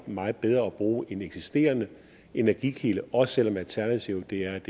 meget bedre at bruge en eksisterende energikilde også selv om alternativet er